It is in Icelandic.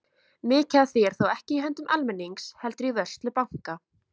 Mikið af því er þó ekki í höndum almennings heldur í vörslu banka.